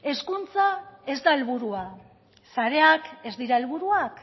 hezkuntza ez da helburua sareak ez dira helburuak